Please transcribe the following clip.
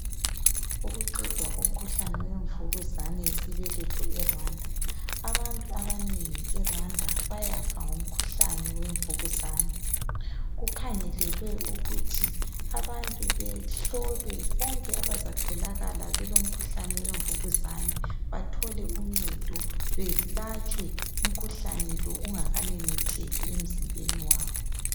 Ukuqedwa komkhuhlane we Mvukuzane yesibeletho eRwanda. Abantu abanengi eRwanda bayafa ngomkhuhlane weMvukuzane, kukhangelelwe ukuthi abantu behlolwe bonke abazatholakala belo mkhuhlane weMvukuzane bathole uncedo, belatshwe umkhuhlane lo ungakamemetheki emzimbeni wabo.